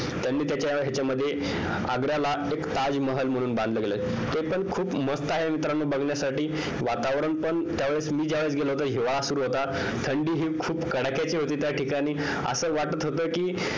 त्यांनी त्यांच्या ह्यांच्यामध्ये आग्र्याला एक ताजमहाल म्हणून बांधलं गेलं आहे ते पण खूप मस्त आहे मित्रांनो बघण्यासाठी वातावरण पण त्यावेळेस मी ज्या वेळीस गेलो होतो हिवाळा सुरू होता थंडी खूप कडाक्याची होती त्या ठिकाणी असं वाटत होत कि